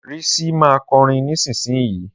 Risi ma kọrin nísinsìnyí.